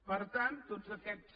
per tant tots aquests